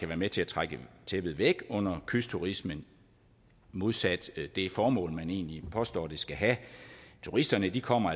være med til at trække tæppet væk under kystturismen modsat det formål som man egentlig påstår den skal have turisterne kommer